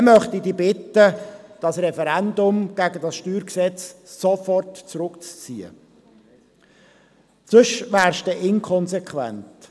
Für diesen Fall möchte ich Sie bitten, das Referendum gegen das StG sofort zurückzuziehen, sonst wären Sie inkonsequent.